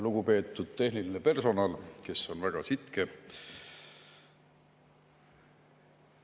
Lugupeetud tehniline personal, kes on väga sitke!